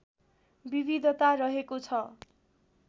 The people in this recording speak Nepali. विविधता रहेको छ